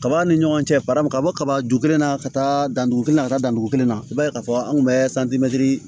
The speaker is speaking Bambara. Kaba ni ɲɔgɔn cɛ paramu ka bɔ kaba ju kelen na ka taa dandugu kelen na ka taa dandugu kelen na i b'a ye k'a fɔ an kun bɛ